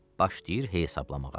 Başlayır hesablamağa.